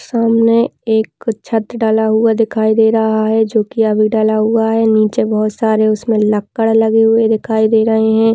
सामने एक छत डाला हुआ दिखाई दे रहा है जो कि अभी डला हुआ है नीचे बहुत सारे उसमें लक्कड़ लगे हुए दिखाई दे रहे हैं।